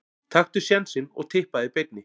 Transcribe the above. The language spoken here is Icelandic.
Taktu sénsinn og Tippaðu í beinni.